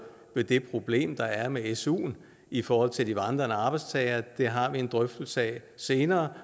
ved det problem der er med suen i forhold til vandrende arbejdstagere det har vi en drøftelse af senere